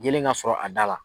Yeelen ka sɔrɔ a da la.